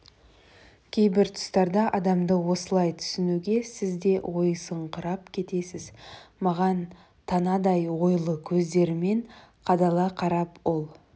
кейбір тұстарда адамды осылай түсінуге сіз де ойысыңқырап кетесіз маған танадай ойлы көздерімен қадала қарап ол